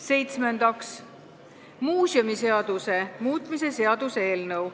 Seitsmendaks, muuseumiseaduse muutmise seaduse eelnõu.